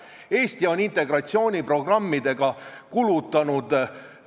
Ma muuseas tahtsin vaikselt lugema hakata, kui mitu korda "nagu" tuleb, aga pean sulle au andma: ei olnud seda noorteslängi.